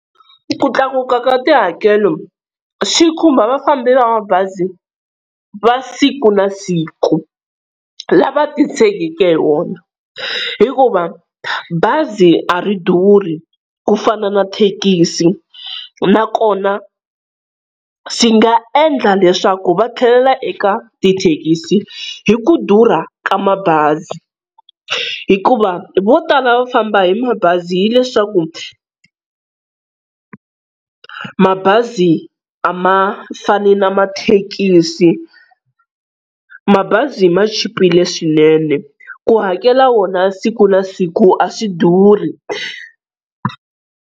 Ku tlakuka ka tihakelo swi khumba va fambi va mabazi va siku na siku, lava titshegeke hi wona, hikuva bazi a ri durhi ku fana na thekisi, nakona swi nga endla leswaku va tlhelela eka tithekisi hi ku durha ka mabazi. Hikuva vo tala va famba hi mabazi hileswaku mabazi a ma fani na mathekisi, mabazi ma chipile swinene ku hakela wona siku na siku a swi durhi.